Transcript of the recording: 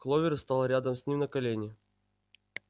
кловер стала рядом с ним на колени